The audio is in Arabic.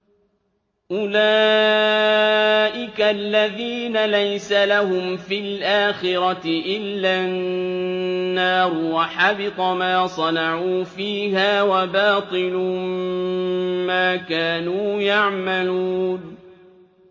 أُولَٰئِكَ الَّذِينَ لَيْسَ لَهُمْ فِي الْآخِرَةِ إِلَّا النَّارُ ۖ وَحَبِطَ مَا صَنَعُوا فِيهَا وَبَاطِلٌ مَّا كَانُوا يَعْمَلُونَ